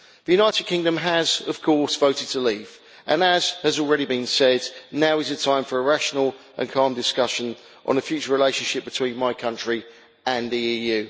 The United Kingdom has, of course, voted to leave, and as has already been said now is the time for a rational and calm discussion on the future relationship between my country and the EU.